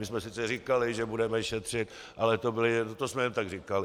My jsme sice říkali, že budeme šetřit, ale to jsme jen tak říkali.